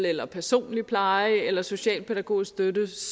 eller personlig pleje eller socialpædagogisk støtte